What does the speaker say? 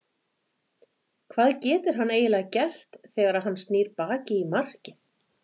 Hvað getur hann eiginlega gert þegar að hann snýr baki í markið?